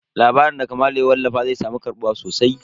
Labarin da Kamalu ya wallafa zai samu karɓuwa sosai.